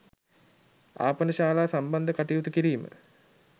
ආපනශාලා සම්බන්ධ කටයුතු කිරීම